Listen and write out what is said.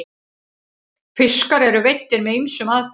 fiskar eru veiddir með ýmsum aðferðum